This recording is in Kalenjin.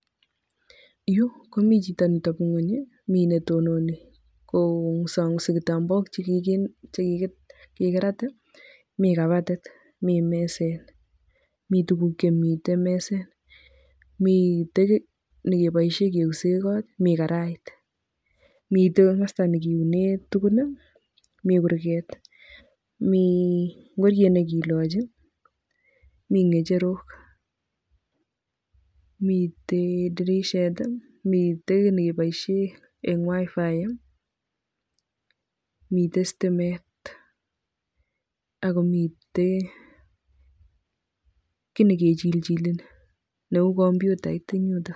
yu komi jito neteben ny'weny mi netononi kong'usong'usi kitambaok chegigirat, mi kabatit, mi meset, mi tuguk chemiten meset, miten kit negeboisien keusen ng'ot, mi karait, miten komasta negiunen tugun, mi kurget, mi ing'oriet negiloji, mi ng'echerok, miten dirishet, miten kiit negeboishen eng wifi ,miten stimet ago miten kit negejiljile neu komputait en yuto.